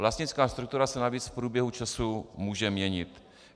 Vlastnická struktura se navíc v průběhu času může měnit.